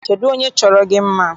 Kedụ onye chọrọ gị mma?